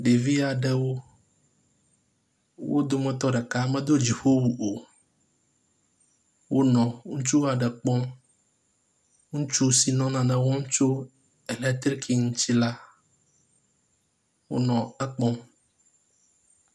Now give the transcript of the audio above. Ɖevia ɖewo wo dometɔ ɖeka medo dziƒowu o. Wonɔ ŋutsu aɖe kpɔm. Ŋutsu si nɔ nane wɔm tso elektriki ŋuti la, wonɔ ekpɔm.